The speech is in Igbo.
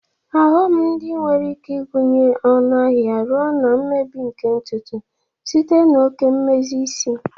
Oghom di nwere ike ịgụnye ọnụ ahịa ọrụ na mmebi nke ntutu site na oke mmezi isi.